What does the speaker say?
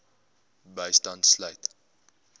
bystand sluit